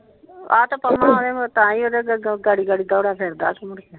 ਆ ਤੇ ਪਂਮਾਂ ਆ ਗਿਆ ਮੇ ਵੀ ਜਿਹੜਾ ਗੱਡੀ ਗੱਡੀ ਦੋਹਰੀ ਫੇਰਦਾ ਸੀ ਮੁਹਰੇ ।